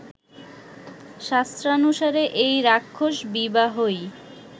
শাস্ত্রানুসারে এই রাক্ষস বিবাহই